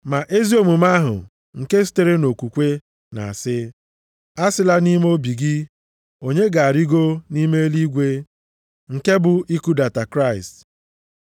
Ma ezi omume ahụ nke sitere nʼokwukwe na-asị, “Asịla nʼime obi gị, ‘onye ga-arịgo nʼime eluigwe?’ ”+ 10:6 \+xt Dit 30:12\+xt* (nke bụ, ikudata Kraịst)